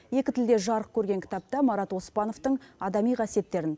екі тілде жарық көрген кітапта марат оспановтың адами қасиеттерін